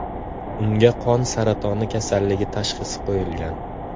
Unga qon saratoni kasalligi tashxisi qo‘yilgan.